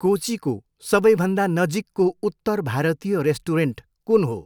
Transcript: कोचीको सबैभन्दा नजिकको उत्तर भारतीय रेस्टुरेन्ट कुन हो?